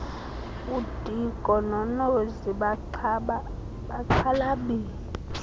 udiko nonozi baxhalabile